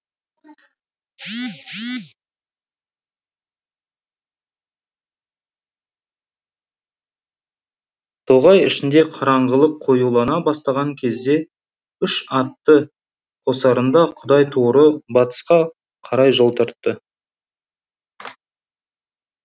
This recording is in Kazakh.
тоғай ішінде қараңғылық қоюлана бастаған кезде үш атты қосарында құдайторы батысқа қарай жол тартты